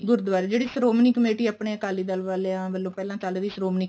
ਗੁਰੂਦੁਆਰੇ ਵਾਲੇ ਜਿਹੜੀ ਸ਼ਿਰੋਮਣੀ ਕਮੇਟੀ ਆਪਣੇ ਅਕਾਲੀ ਦਲ ਵਾਲਿਆ ਵਲੋਂ ਪਹਿਲਾਂ ਚੱਲ ਰਹੀ ਸ਼੍ਰੋਮਣੀ